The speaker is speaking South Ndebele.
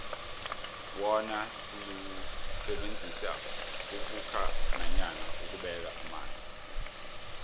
wona siwusebenzisela ukhukha nanyana ukubeka amanzi